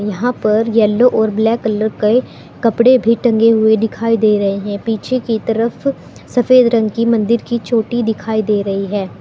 यहां पर येलो और ब्लैक कलर के कपड़े भी टंगे हुए दिखाई दे रहे हैं पीछे की तरफ सफेद रंग की मंदिर की चोटी दिखाई दे रही है।